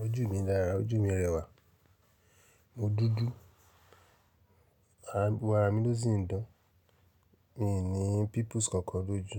Ojú mi dára, ojú mi rẹwà. Mo dúdú. Gbogbo ara mi ló sì ń dán. Mi n ní pimples kankan lójú.